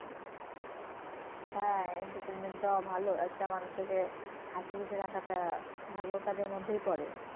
হ্যাঁ entertainment দেওয়া ভলো একটা মানুষকে হাসি খুশি রাখাটা ভালো কাজের মধ্যেই পরে।